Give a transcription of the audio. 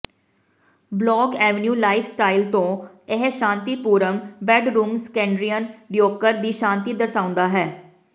blog avenue lifestyle ਤੋਂ ਇਹ ਸ਼ਾਂਤੀਪੂਰਨ ਬੈੱਡਰੂਮ ਸਕੈਂਡੀਨੇਵੀਅਨ ਡੀਕੋਰ ਦੀ ਸ਼ਾਂਤੀ ਦਰਸਾਉਂਦਾ ਹੈ